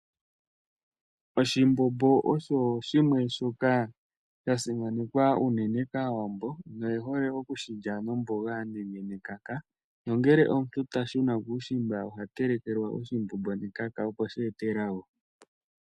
Oshimbombo osho shimwe shoka sha simanekwa unene kAawambo noye hole okushi lya nomboga nenge nekaka. Nongele omuntu ta shuna kuushimba oha telekelwa oshimbombo nekaka, opo shi ete elago.